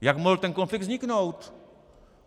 Jak mohl ten konflikt vzniknout?